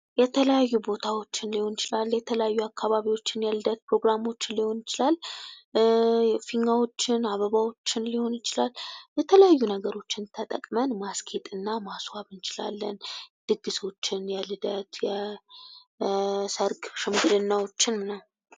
የተለያዩ ቦታዎችን ሊሆን ይችላል ፣ የተለያዩ አካባቢዎችን ፣ ልደት ፕሮግራሞችን ሊሆን ይችላል ፊኛዎችን ፣ አበባዎችን ሊሆን ይችላል የተለያዩ ነገሮችን ተጠቅመን ማስጌጥ እና ማስዋብ እንችላለን ። ድግሶችን፦ የልደት ፣ የሰርግ ሽምግልናዎችን ምናምን